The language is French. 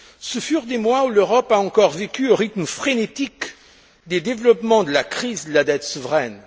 Ce furent des mois où l'Europe a encore vécu au rythme frénétique des développements de la crise et de la dette souveraine.